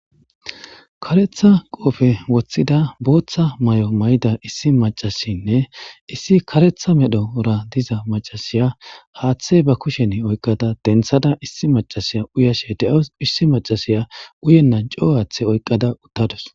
Kareththa qofe woththida boththa mayo mayidda issi maacashshinne issi kareththa medhdhora diza macashshiya haththe bee kushshenni oyikkada deniththada issi macashshiya uyashshe de'awus